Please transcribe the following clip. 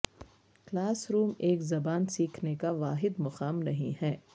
class room ایک زبان سیکھنے کا واحد مقام نہیں ہے